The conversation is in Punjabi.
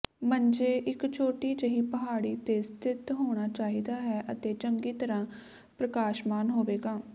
ਮੰਜੇ ਇੱਕ ਛੋਟੀ ਜਿਹੀ ਪਹਾੜੀ ਤੇ ਸਥਿਤ ਹੋਣਾ ਚਾਹੀਦਾ ਹੈ ਅਤੇ ਚੰਗੀ ਤਰ੍ਹਾਂ ਪ੍ਰਕਾਸ਼ਮਾਨ ਹੋਵੇਗਾ